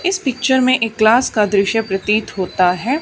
इस पिक्चर में एक क्लास का दृश्य प्रतीत होता है।